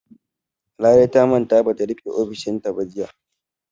Larai ta manta ba ta rufe ƙofar ofishinta ba jiya.